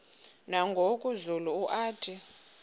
nangoku zulu uauthi